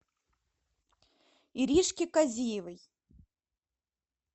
иришки казиевой